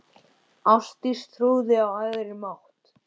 Ástdís trúði á æðri mátt.